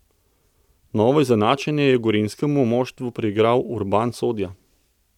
Novo izenačenje je gorenjskemu moštvu priigral Urban Sodja.